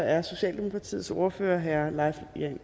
er socialdemokratiets ordfører herre leif